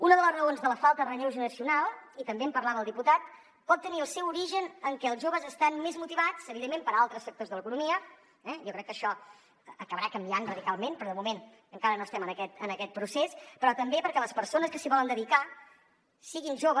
una de les raons de la falta de relleu generacional i també en parlava el diputat pot tenir el seu origen en què els joves estan més motivats evidentment per altres sectors de l’economia jo crec que això acabarà canviant radicalment però de moment encara no estem en aquest procés però també perquè les persones que s’hi volen dedicar siguin joves